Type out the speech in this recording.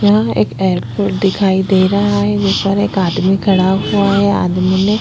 यहाँ एक एयरपोर्ट दिखाई दे रहा है ऊपर एक आदमी खड़ा हुआ है आदमी ने--